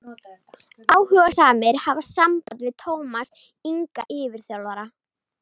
Áhugasamir hafi samband við Tómas Inga yfirþjálfara.